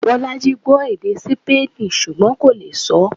Bolaji gbọ́ èdè Sípéènì ṣùgbọ́n kò lè sọọ́